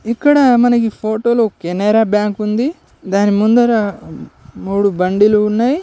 ఇక్కడ మనకి ఫోటోలో కెనరా బ్యాంక్ ఉంది. దాని ముందర మూడు బండిలు ఉన్నాయి.